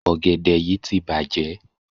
Ọ̀gẹ̀dẹ̀ yí ti bàjẹ́.